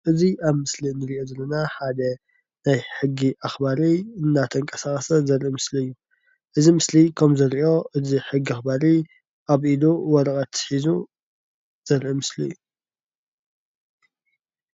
እዚ ኣብ ምስሊ ንርኦ ዘለና ሓደ ናይ ሕጊ ኣክባሪ እንዳተቀሳቀሰ ዘርኢ ምስሊ እዩ። እዚ ምስሊ ከምንርኦ እዚ ሕጊ ኣክባሪ ኣብ ኢዱ ወረቀት ሒዙ ዘርኢ ምስሊ እዩ።